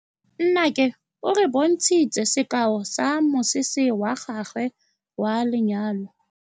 Nnake o re bontshitse sekaô sa mosese wa gagwe wa lenyalo.